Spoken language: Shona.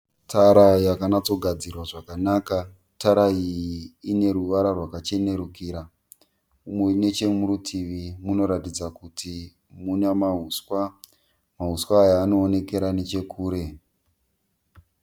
Tara yakanatsogadzirwa zvakanaka. Tara iyi ine ruvara rwakachenerukira uye nechemurutivi munoratidza kuti muna mauswa. Mauswa aya anoonekera nechekure. ..